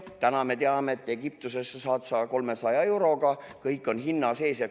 Täna me teame, et Egiptusesse saad sa 300 euroga, kõik on hinna sees.